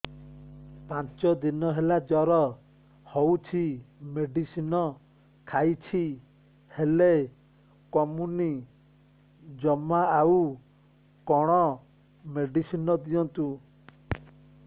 ପାଞ୍ଚ ଦିନ ହେଲା ଜର ହଉଛି ମେଡିସିନ ଖାଇଛି ହେଲେ କମୁନି ଜମା ଆଉ କଣ ମେଡ଼ିସିନ ଦିଅନ୍ତୁ